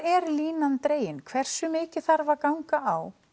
er línan dregin hversu mikið þarf að ganga á